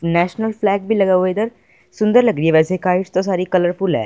National flag भी लगा हुआ इधर सुंदर लग रही है वैसे काइट्स तो सारी कलरफुल है।